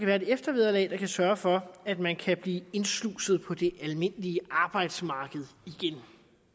være et eftervederlag der kan sørge for at man kan blive indsluset på det almindelige arbejdsmarked igen